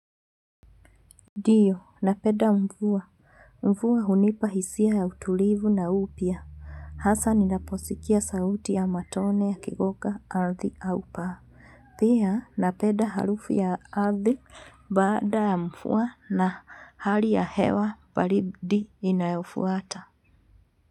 Ndio, napenda mvua. Mvua hunipa hisia ya utulivu na upya. Hasa ninaposikia sauti ya matone yakigonga ardhi au paa. Pia, napenda harufu ya ardhi baada ya mvua na hali ya hewa baridi inayofuata.